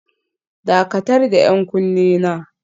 Dakatar da 'yan kunne na